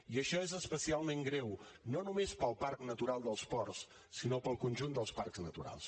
i això és especialment greu no només per al parc natural dels ports sinó per al conjunt dels parcs naturals